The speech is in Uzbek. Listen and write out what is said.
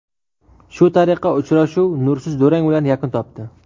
Shu tariqa uchrashuv nursiz durang bilan yakun topdi.